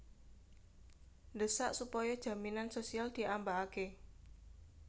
Ndhesak supaya jaminan sosial diambakake